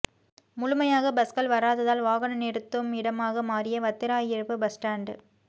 முழுமையாக பஸ்கள் வராததால் வாகன நிறுத்தும் இடமாக மாறிய வத்திராயிருப்பு பஸ்ஸ்டாண்ட்